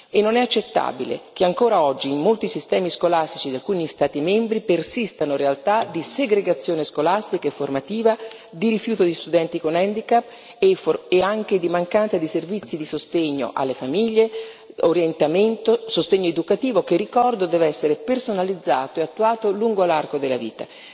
E non è accettabile che, ancora oggi, in molti sistemi scolastici di alcuni Stati membri persistano realtà di segregazione scolastica e formativa, di rifiuto di studenti con handicap e anche di mancanza di servizi di sostegno alle famiglie, orientamento, sostegno educativo che, ricordo, deve essere personalizzato e attuato lungo l'arco della vita.